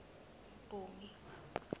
mpumi